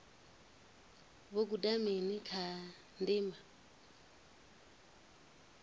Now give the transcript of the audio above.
vho guda mini kha ndima